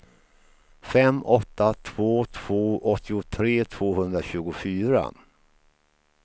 fem åtta två två åttiotre tvåhundratjugofyra